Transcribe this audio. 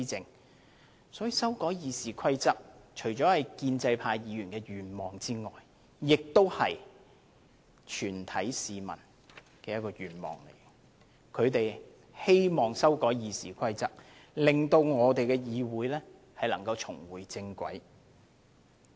因此，修改《議事規則》除了是建制派議員的願望之外，亦是全體市民的願望，他們希望修改《議事規則》令議會重回正軌。